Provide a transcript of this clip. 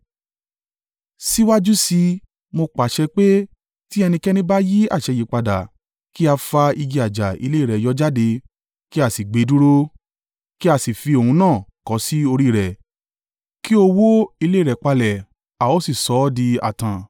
Síwájú sí i, mo pàṣẹ pé tí ẹnikẹ́ni bá yí àṣẹ yìí padà, kí fa igi àjà ilé rẹ̀ yọ jáde, kí a sì gbe dúró, kí a sì fi òun náà kọ́ sí orí rẹ̀ kí ó wo ilé rẹ̀ palẹ̀ a ó sì sọ ọ́ di ààtàn.